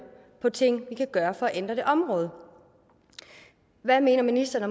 på ting vi kan gøre for at ændre det område hvad mener ministeren